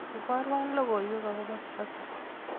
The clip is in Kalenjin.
iborwan logoiwek akobo Kibaki